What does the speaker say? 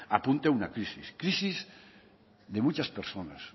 apunte a una crisis crisis de muchas personas